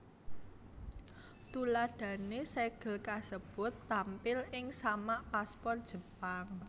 Tuladhané sègel kasebut tampil ing samak paspor Jepang